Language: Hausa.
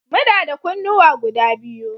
Muna da kunnuwa guda biyu